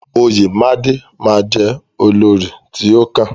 Oyemade ma jẹ olórí ti o kàn.